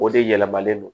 O de yɛlɛmalen don